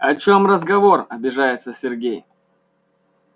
о чём разговор обижается сергей